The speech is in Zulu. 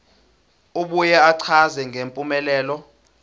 abuye achaze ngempumelelo